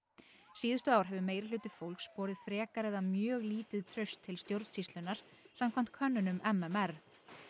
síðustu ár hefur meirihluti fólks borið frekar eða mjög lítið traust til stjórnsýslunnar samkvæmt könnunum m m r